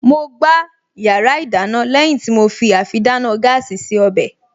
Mo gbá yàrá ìdáná lẹ́yìn tí mo fi àfidáná gáàsì se ọbẹ̀